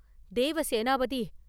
Devasenapathi!